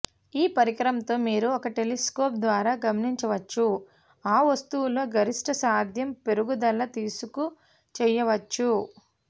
ఈ పరికరంతో మీరు ఒక టెలిస్కోప్ ద్వారా గమనించవచ్చు ఆ వస్తువులో గరిష్ట సాధ్యం పెరుగుదల తీసుకు చేయవచ్చు